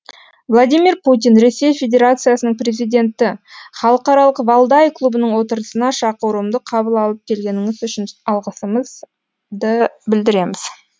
владимир путин ресей федерациясының президенті халықаралық валдай клубының отырысына шақыруымды қабыл алып келгеніңіз үшін алғысымызды білдіреміз